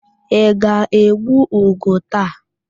Ị ga-egbu ugo taa?